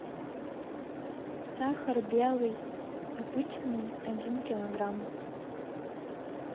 сахар белый обычный один килограмм